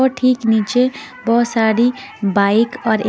और ठीक नीचे बहुत सारी बाइक और ए --